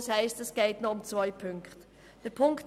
Das heisst, es geht noch um zwei Ziffern.